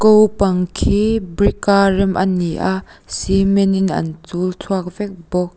ko pang khi brick a rem ani a cement in an chul chhuak vek bawk--